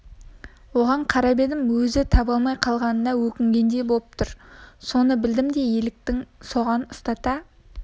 оған қарап едім өзі таба алмай калғанына өкінгендей боп тұр соны білдім де елікті соған ұстата